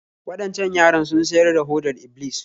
Waɗancan yaran sun siyar da hodar Iblis